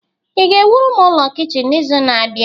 ị ga-ewuru m ụlọ kichin n'izu na-abịa?